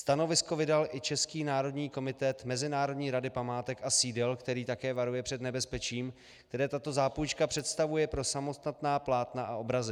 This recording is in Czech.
Stanovisko vydal i Český národní komitét Mezinárodní rady památek a sídel, který také varuje před nebezpečím, které tato zápůjčka představuje pro samotná plátna a obrazy.